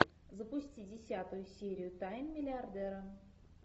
запусти десятую серию тайны миллиардера